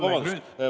Vabandust!